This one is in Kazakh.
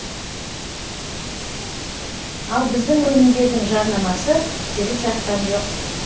ал біздің өнімдердің жарнамасы жүріп жатқан жоқ